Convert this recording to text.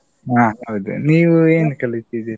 ಹಾ ಹೌದು. ನೀವ್ ಏನ್ ಕಲಿತಿದ್ದೀರಿ?